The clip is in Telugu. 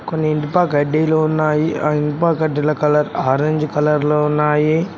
కొన్ని ఇనుప కడ్డీలు ఉన్నాయి ఆ ఇనుప గడ్డిల కలర్ ఆరెంజ్ కలర్ లో ఉన్నాయి.